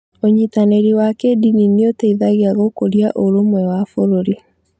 Ũnyitanĩri wa kĩĩndini nĩ ũteithagia gũkũria ũrũmwe wa bũrũri.